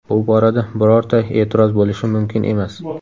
Bu borada birorta e’tiroz bo‘lishi mumkin emas.